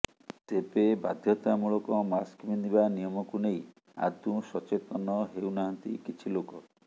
ତେବେ ବାଧ୍ୟତା ମୂଳକ ମାସ୍କ ପିନ୍ଧିବା ନିୟମକୁ ନେଇ ଆଦୌ ସଚେତନ ହେଉନାହାନ୍ତି କିଛି ଲୋକ